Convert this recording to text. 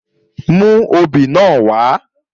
Mú obì náà wá!